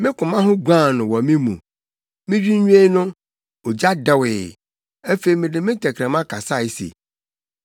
Me koma ho guan no wɔ me mu. Midwinnwen no, ogya dɛwee; afei mede me tɛkrɛma kasae se: